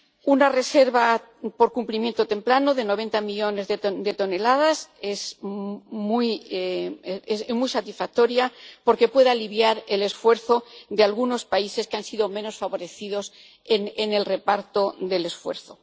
Una reserva por cumplimiento temprano de 90 millones de toneladas es muy satisfactoria, porque puede aliviar el esfuerzo de algunos países que han sido menos favorecidos en el reparto del esfuerzo.